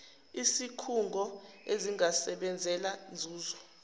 izikhungo ezingasebenzeli nzuzo